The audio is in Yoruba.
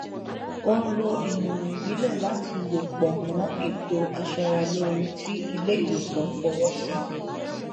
ó n lo ìmọràn ìbílẹ láti lò pọ mọ ètò aṣara lóore tí ilé ìwòsàn fọwọ sí